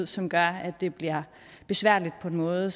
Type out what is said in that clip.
som gør at det bliver besværligt på en måde